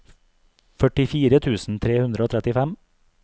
førtifire tusen tre hundre og trettifem